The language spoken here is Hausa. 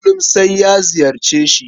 Kullum sai na ziyarce shi.